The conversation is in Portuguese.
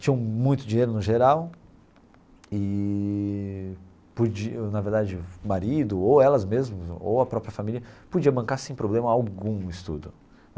Tinham muito dinheiro no geral eee, podiam na verdade, o marido, ou elas mesmas, ou a própria família, podia bancar sem problema algum o estudo.